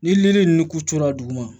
Ni yiri ninnu kuturu la duguma